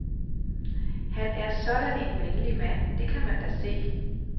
Han er sådan en venlig mand, det kan man da se.